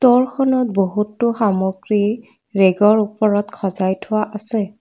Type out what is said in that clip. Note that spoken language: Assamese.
ঘৰখনত বহুতো সামগ্ৰী ৰেগৰ ওপৰত সজাই থোৱা আছে।